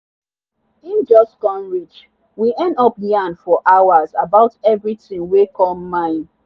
him just come reach we end up yarn for hours about everything wer come mind.